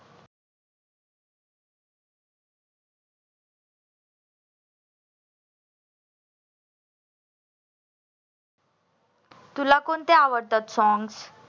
तुला कोणते आवडतात songs